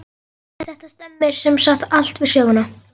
Þetta stemmir sem sagt allt við söguna.